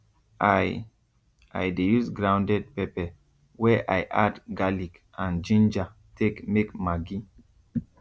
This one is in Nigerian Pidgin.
i i dey use grounded pepper wey i add garlic and ginger take make maggi